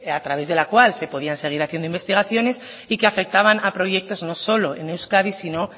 a través de la cual se podían seguir haciendo investigaciones y que afectaban a proyectos no solo en euskadi sino